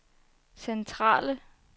centrale